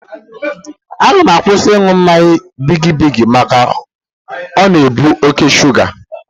Aga m akwụsị ịṅụ mmanya bigi bigi maka o na-ebu oké shuga.